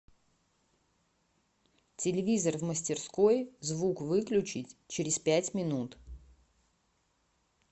телевизор в мастерской звук выключить через пять минут